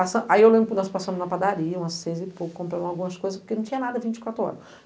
passa, aí eu lembro que nós passamos na padaria, umas seis e pouco, compramos algumas coisas, porque não tinha nada, vinte e quatro horas.